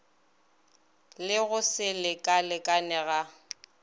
le go se lekalekane ga